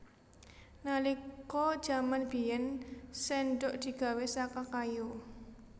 Nalika jaman biyèn séndhok digawé saka kayu